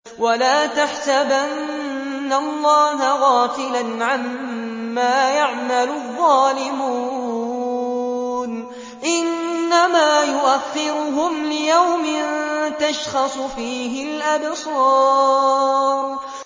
وَلَا تَحْسَبَنَّ اللَّهَ غَافِلًا عَمَّا يَعْمَلُ الظَّالِمُونَ ۚ إِنَّمَا يُؤَخِّرُهُمْ لِيَوْمٍ تَشْخَصُ فِيهِ الْأَبْصَارُ